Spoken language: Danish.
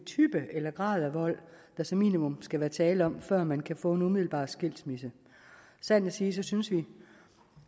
type eller grad af vold der som minimum skal være tale om før man kan få en umiddelbar skilsmisse sandt at sige synes vi